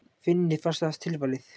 Finni fannst það tilvalið.